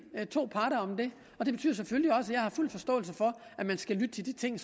to parter om det og det betyder selvfølgelig også at jeg har fuld forståelse for at man skal lytte til de ting